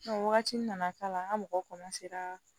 Wagati nana k'a la an ka mɔgɔ